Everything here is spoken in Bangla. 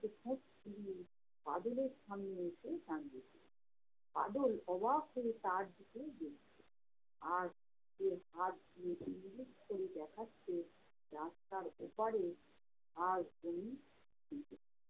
বাদলের সামনে এসে দাঁড়িয়েছে। বাদল অবাক হয়ে তার দিকে দেখছে আর সে হাত দিয়ে ইঙ্গিত করে দেখাচ্ছে, রাস্তার ওপারে আর কোনো